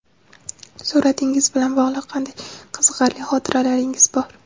Suratingiz bilan bog‘liq qanday qiziqarli xotiralaringiz bor?